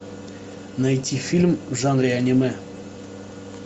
найти фильм в жанре аниме